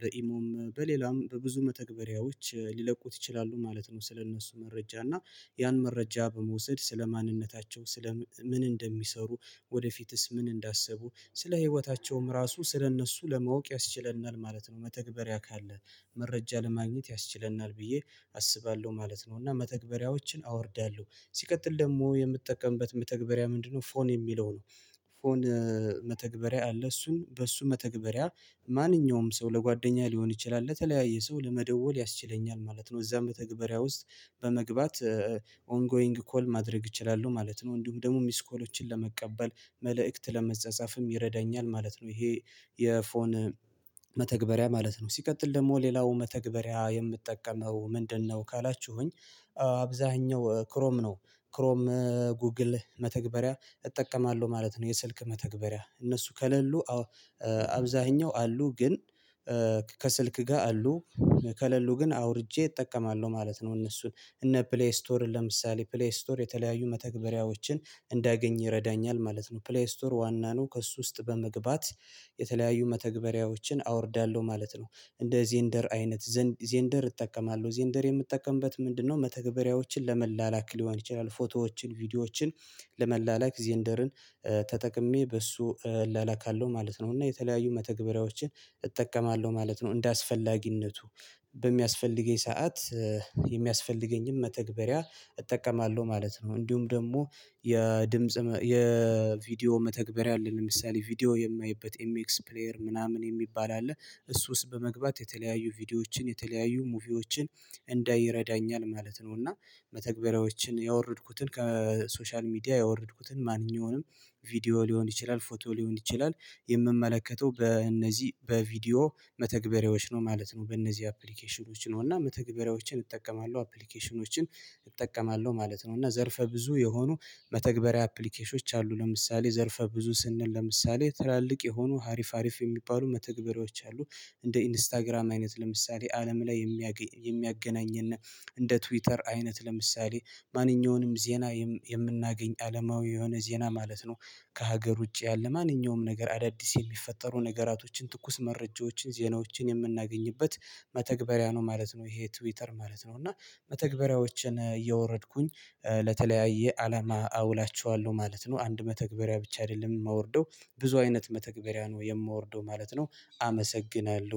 በኢሞም በሌላም በብዙ መተግበሪያዎች ሊለቁት ይችላሉ ማለት ነው ስለእነሱ መረጃ እና ያን መረጃ በመውሰድ ስለ ማንነታቸው ስለ ምን እንደሚሰሩ ወደፊትስ ምን እንዳሰቡ ስለ ህይወታቸውም ራሱ ስለእነሱ ለማወቅ ያስችለናል ማለት ነው መተግበሪያ ካለ መረጃ ለማግኘት ያስችለናል ብዬ አስባለሁ ማለት ነው እና መተግበሪያዎችን አወርዳለሁ ሲቀጥል ደግሞ የምትጠቀምበት መተግበሪያ ምንድነው ፎን የሚለው ነው ፎን መተግበሪያ አለ እሱን በእሱ መተግበሪያ ማንኛውም ሰው ለጓደኛ ሊሆን ይችላል ለተለያየ ሰው ለመደወል ያስችለኛል ማለት ነው እዛም መተግበሪያ ውስጥ በመግባት ኦንጎይንግ ኮል ማድረግ እችላለሁ ማለት ነው እንዲሁም ደግሞ ሚስኮሎችን ለመቀበል መልእክት ለመጻጻፍም ይረዳኛል ማለት ነው ይሄ የፎን መተግበሪያ ማለት ነው። ሲቀጥል ደግሞ ሌላው መተግባሪያ የምጠቀመው ምንድነው ካላችሁኝ አብዛኛው ክሮም ነው ክሮም ጉግል መተግበሪያ እጠቀማለሁ ማለት ነው የስልክ መተግበሪያ እነሱ ከሌሉ አብዛኛው አሉ ግን ከስልክ ጋር አሉ። ከሌሉ ግን አውርጄ እጠቀማለሁ ማለት ነው እነሱን እነ ፕሌይ ስቶር ለምሳሌ ፕሌይ ስቶር የተለያዩ መተግበሪያዎችን እንዳያገኝ ይረዳኛል ማለት ነው ፕሌይ ስቶር ዋና ነው ከእሱ ውስጥ በመግባት የተለያዩ መተግበሪያዎችን አወርዳለሁ ማለት ነው እንደ ዜንደር አይነት ዜንደር እጠቀማለሁ ዜንደር የምጠቀምበት ምንድነው መተግበሪያዎችን ለመላላክ ሊሆን ይችላል ፎቶዎችን ቪዲዮዎችን ለመላላክ ዜንደርን ተጠቅሜ በሱ እላላካለው ማለት ነው እና የተለያዩ መተግበሪያዎችን እጠቀማለሁ ማለት ነው እንደ አስፈላጊነቱ በሚያስፈልገኝ ሰዓት የሚያስፈልገኝም መተግበሪያ እጠቀማለሁ ማለት ነው እንዲሁም ደግሞ የድምጽ የቪዲዮ መተግበሪያ አለ ለምሳሌ ቪዲዮ የማየበት ኤምኤክስ ፕሌየር ምናምን የሚባል አለ እሱ ውስጥ በመግባት የተለያዩ ቪዲዮዎችን የተለያዩ ሙቪዎችን እንዳይ ይረዳኛል ማለት ነው እና መተግበሪያዎችን ያወረድኩትን ከሶሻል ሚዲያ ያወረድኩትን ማንኛውንም ቪዲዮ ሊሆን ይችላል ፎቶ ሊሆን ይችላል የምመለከተው በእነዚህ በቪዲዮ መተግበሪያዎች ነው ማለት ነው በእነዚህ አፕሊኬሽኖች ነው እና መተግበሪያዎችን እጠቀማለሁ አፕሊኬሽኖችን እጠቀማለሁ ማለት ነው እና ዘርፈ ብዙ የሆኑ መተግበሪያ አፕሊኬሽኖች አሉ ለምሳሌ ዘርፈ ብዙ ስንል ለምሳሌ ትላልቅ የሆኑ ሀሪፍ ሀሪፍ የሚባሉ መተግበሬዎች አሉ እንደ ኢንስታግራም አይነት ለምሳሌ አለም ላይ የሚያገናኝና እንደ ትዊተር አይነት ለምሳሌ ማንኛውንም ዜና የምናገኝ አለማዊ የሆነ ዜና ማለት ነው ከሀገር ውጪ ያለ ማንኛውም ነገር አዳዲስ የሚፈጠሩ ነገራቶችን ትኩስ መረጃዎችን ዜናዎችን የምናገኝበት መተግበሪያ ነው ማለት ነው ይሄ ትዊተር ማለት ነው እና መተግበሪያዎችን እያወረድኩኝ ለተለያየ አላማ አውላቸዋለሁ ማለት ነው አንድ መተግበሪያ ብቻ አይደለም የማወርደው ብዙ አይነት መተግበሪያ ነው የማወርደው ማለት ነው አመሰግናለሁ።